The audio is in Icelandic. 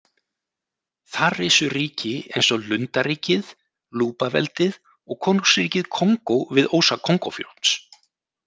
Þar risu ríki eins og Lundaríkið, Lubaveldið og Konungsríkið Kongó við ósa Kongófljóts.